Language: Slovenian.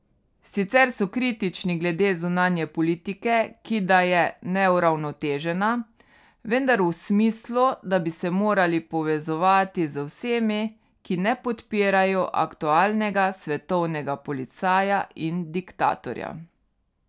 Sicer so kritični glede zunanje politike, ki da je neuravnotežena, vendar v smislu, da bi se morali povezovati z vsemi, ki ne podpirajo aktualnega svetovnega policaja in diktatorja.